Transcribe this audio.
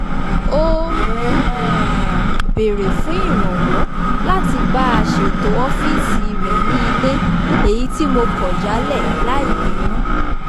ó um béèrè fún ìrànwọ̀ láti bá a ṣètọ̀ ọ́fíìsì rẹ̀ ní ilé èyí tí mo kọ̀ jálẹ̀ láì bínú